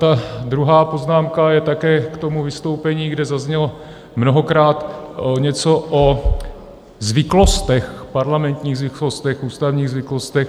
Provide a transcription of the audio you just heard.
Ta druhá poznámka je také k tomu vystoupení, kde zaznělo mnohokrát něco o zvyklostech, parlamentních zvyklostech, ústavních zvyklostech.